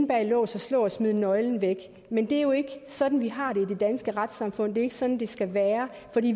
bag lås og slå og smide nøglen væk men det er jo ikke sådan vi har det i det danske retssamfund det er ikke sådan det skal være